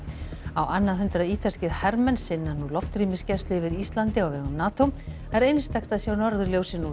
á annað hundrað ítalskir hermenn sinna nú loftrýmisgæslu yfir Íslandi á vegum NATO það er einstakt að sjá norðurljósin úr